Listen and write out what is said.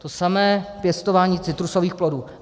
To samé pěstování citrusových plodů.